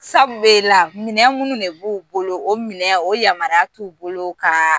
minɛn minnu de b'u bolo o minɛn o yamaruya t'u bolo ka